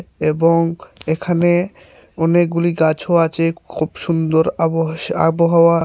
এবং এখানে অনেকগুলি গাছও আছে খুব সুন্দর আবশ আবহাওয়া।